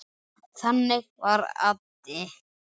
Þannig var Addi.